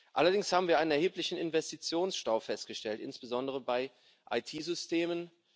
Allerdings haben wir einen erheblichen Investitionsstau festgestellt, insbesondere bei IT Systemen.